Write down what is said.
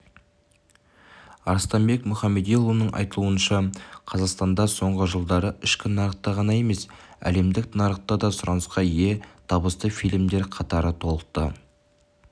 арыстанбек мұхамедиұлының айтуынша қазақстанда соңғы жылдары ішкі нарықта ғана емес әлемдік нарықта да сұранысқа ие табысты фильмдер қатары толықты